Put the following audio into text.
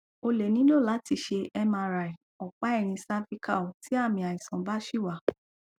o lè nílò láti ṣe mri ọpá ẹyìn cervical tí àmì àìsàn bá ṣì wà